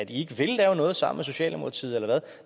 ikke vil lave noget sammen med socialdemokratiet eller hvad